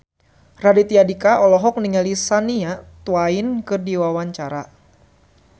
Raditya Dika olohok ningali Shania Twain keur diwawancara